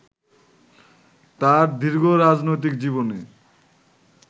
তার দীর্ঘ রাজনৈতিক জীবনে